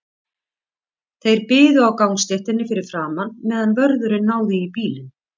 Þeir biðu á gangstéttinni fyrir framan, meðan vörðurinn náði í bílinn.